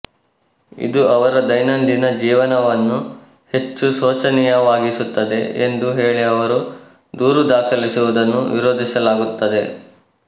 ಇದು ಅವರ ದೈನಂದಿನ ಜೀವನವನ್ನು ಹೆಚ್ಚು ಶೋಚನೀಯವಾಗಿಸುತ್ತದೆ ಎಂದು ಹೇಳಿ ಅವರು ದೂರು ದಾಖಲಿಸುವುದನ್ನು ವಿರೋಧಿಸಲಾಗುತ್ತದೆ